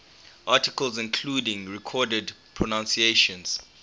articles including recorded pronunciations